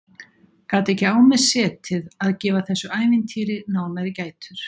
Gat ekki á mér setið að gefa þessu ævintýri nánari gætur.